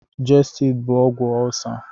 Gestidi bụ ọgwụ ọlcer.